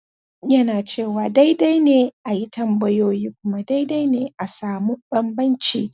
bayanai idan ya zama dole